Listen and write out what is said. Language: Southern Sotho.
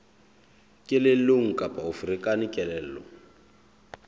kelellong kapa o ferekane kelello